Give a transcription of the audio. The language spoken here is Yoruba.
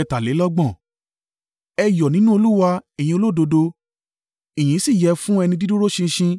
Ẹ yọ̀ nínú Olúwa, ẹ̀yin olódodo; ìyìn si yẹ fún ẹni dídúró ṣinṣin.